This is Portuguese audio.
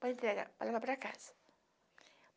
para entregar, para levar para casa.